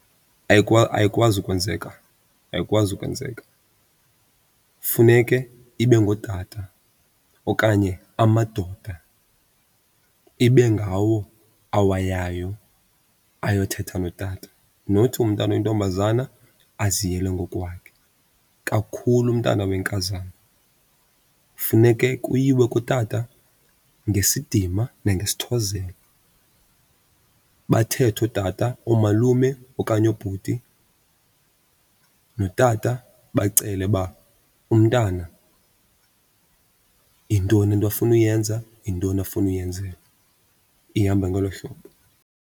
Ayikwazi ukwenzeka, ayikwazi ukwenzeka. Funeke ibe ngootata okanye amadoda ibe ngawo awayayo ayothetha notata, not umntana oyintombazana aziyele ngokwakhe, kakhulu umntana wenkazana. Funeke kuyiwe kutata ngesidima nangesithozelo bathethe ootata, oomalume okanye oobhuti notata bacele uba umntana yintoni into afuna uyenza, yintoni afuna uyenzelwa. Ihamba ngolo hlobo.